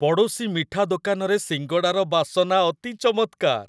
ପଡ଼ୋଶୀ ମିଠା ଦୋକାନରେ ଶିଙ୍ଗଡ଼ାର ବାସନା ଅତି ଚମତ୍କାର!